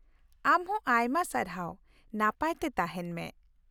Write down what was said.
ᱟᱢ ᱦᱚᱸ ᱟᱭᱢᱟ ᱥᱟᱨᱦᱟᱣ , ᱱᱟᱯᱟᱭ ᱛᱮ ᱛᱟᱦᱮᱱ ᱢᱮ ᱾